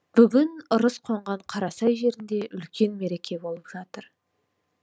бүгін ырыс қонған қарасай жерінде үлкен мереке болып жатыр